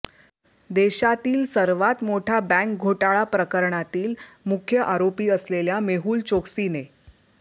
देशातील सर्वात मोठा बँक घोटाळा प्रकरणातील मुख्य आरोपी असलेल्या मेहूल चोकसीने